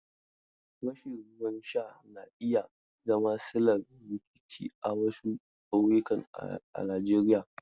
Rashin ruwan sha na iya zama sillar rikici a wasu ƙauyuka a Najeriya.